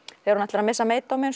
þegar hún ætlar að missa